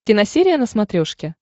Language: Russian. киносерия на смотрешке